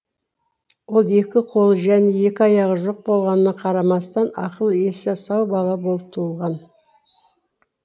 ол екі қолы және екі аяғы жоқ болғанына қарамастан ақыл есі сау бала болып туылған